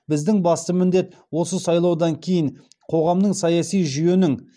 біздің басты міндет осы сайлаудан кейін қоғамның саяси жүйенің